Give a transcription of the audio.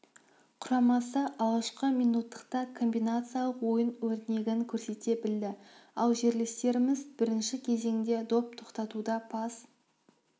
құрамасы алғашқы минуттықта комбинациялық ойын өрнегін көрсете білді ал жерлестеріміз бірінші кезеңде доп тоқтатуда пас